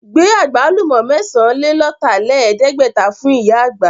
Gbé Àgbálùmọ́ mẹ́sàn-án-lé-lọ̀tàlẹ̀ẹ́dẹ́gbẹ̀ta fún ìyá àgbà!